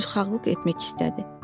Üzrxahlıq etmək istədi.